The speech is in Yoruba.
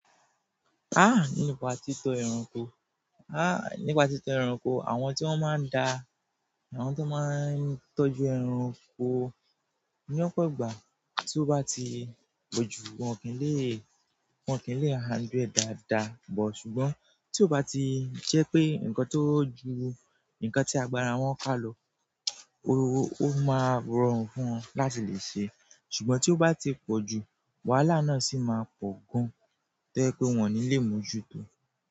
Ah! Nípa títọ́ ẹranko, ah nípa títọ́ ẹranko àwọn tí wọ́n máa ń da àwọn tó máa ń tọ́jú ẹranko ní ọ̀pọ̀ ìgbà tí ó bá ti pọ̀jù wọ́n kì í lè, wọ́n kì í lè handle ẹ dáadáa bọ̀ ṣùgbọ́n tí ó bá ti je pé nǹkan tó ju nǹkan tí agbára wọn kálo ọ́, ó máa rọrùn fún wọn láti le ṣe ṣùgbọ́n tí ó bá ti pọ̀jù wàhálà náà sì máa pọ̀ gan toye pé wọ́n ní lè mójú tó.